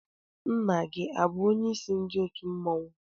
Nna gị abụ onyeisi ndị otu mmọnwụ?